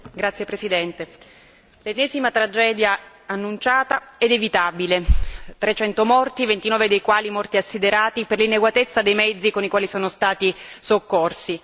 Signora Presidente, onorevoli colleghi, l'ennesima tragedia annunciata ed evitabile 300 morti, 29 dei quali morti assiderati per l'inadeguatezza dei mezzi con i quali sono stati soccorsi.